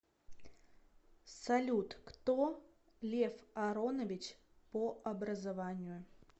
салют кто лев аронович по образованию